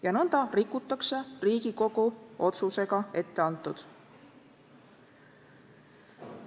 Ja nõnda rikutakse Riigikogu otsusega etteantut.